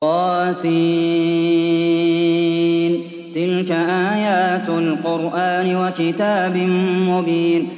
طس ۚ تِلْكَ آيَاتُ الْقُرْآنِ وَكِتَابٍ مُّبِينٍ